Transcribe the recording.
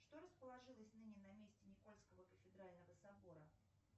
что расположилось ныне на месте никольского кафедрального собора